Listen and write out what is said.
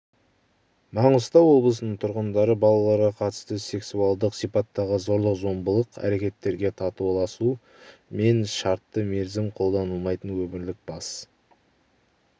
маңғыстау облысының тұрғындары балаларға қатысты сексуалдық сипаттағы зорлық-зомбылық әрекеттерге татуласу мен шартты мерзім қолданылмайтын өмірлік бас